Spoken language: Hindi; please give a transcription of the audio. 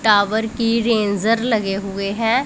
टावर की रेन्जर लगे हुए हैं।